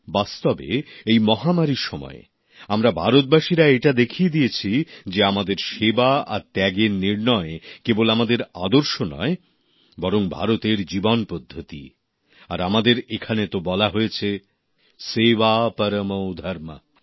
বাস্তবে এই মহামারীর সময় আমরা ভারতবাসীরা এটা দেখিয়ে দিয়েছি যে আমাদের সেবা আর ত্যাগের পথ অনুসরণ করা কেবল আমাদের আদর্শ নয় বরং ভারতের জীবনপদ্ধতি আর আমাদের এখানে তো বলা হয়েছে সেবা পরমো ধর্মঃ